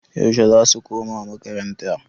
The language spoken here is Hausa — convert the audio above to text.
Yaushe zasu koma makaranta?